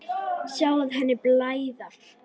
Sjá henni blæða.